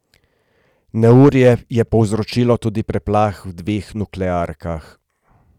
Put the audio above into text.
Neurje je povzročilo tudi preplah v dveh nuklearkah.